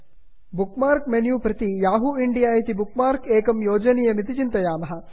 book mark menu प्रति Yahoo India Yahoo India इति bookmark एकं योजनीयमिति चिन्तयामः